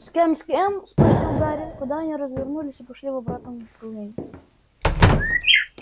с кем с кем спросил гарри когда они развернулись и пошли в обратном направлении